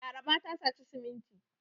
Laraba ta saci siminti.